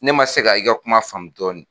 Ne man se ka i ka kuma faamu dɔɔni.